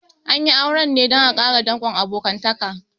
An yi auren ne dan a ƙara dankon abokantaka